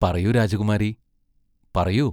പറയൂ രാജകുമാരി, പറയൂ.